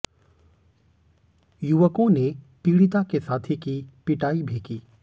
युवकों ने पीड़िता के साथी की पिटाई भी की